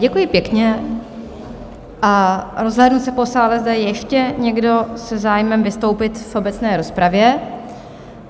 Děkuji pěkně a rozhlédnu se po sále, zda je ještě někdo se zájmem vystoupit v obecné rozpravě?